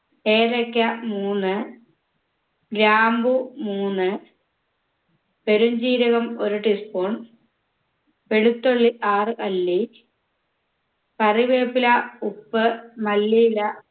ഏലയ്ക്ക മൂന്ന് ഗ്രാമ്പൂ മൂന്ന് പെരുംജീരകം ഒരു tea spoon വെളുത്തുള്ളി ആറ് അല്ലി കറിവേപ്പില ഉപ്പ് മല്ലിയില